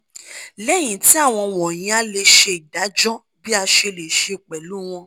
lẹhin ti awọn wọnyi a le ṣe idajọ bi ase le se pẹlu wọn